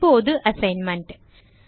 இப்போது அசைன்மென்ட்